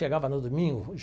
Chegava no domingo.